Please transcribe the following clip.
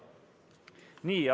Nii.